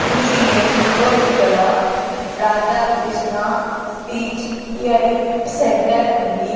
ఈ ఇమేజ్ ఓ ఇక్కడ రాధాకృష్ణ స్పీచ్ హియరింగ్ సెంటర్ ఉంది.